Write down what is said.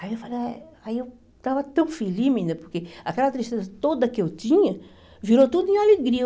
Aí eu falei, aí eu estava tão feliz menina, porque aquela tristeza toda que eu tinha virou tudo em alegria.